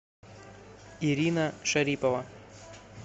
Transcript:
ирина шарипова